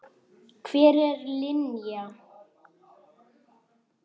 Hver er Linja?